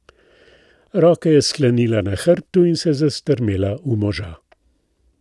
Roke je sklenila na hrbtu in se zastrmela v moža.